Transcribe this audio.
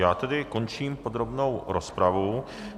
Já tedy končím podrobnou rozpravu.